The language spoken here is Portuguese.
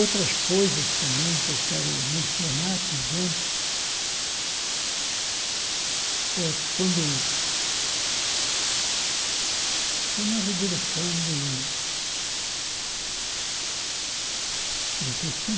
Outras coisas também que eu quero mencionar, por exemplo, é quando... Foi na Revolução de... De